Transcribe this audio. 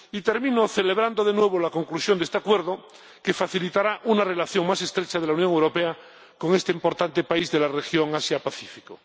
Y termino celebrando, de nuevo, la conclusión de este acuerdo que facilitará una relación más estrecha de la Unión Europea con este importante país de la región Asia Pacífico.